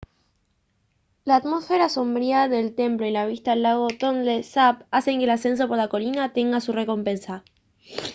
la atmósfera sombría del templo y la vista del lago tonle sap hacen que el ascenso por la colina tenga su recompensa